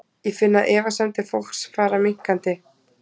Ég finn að efasemdir fólks fara minnkandi.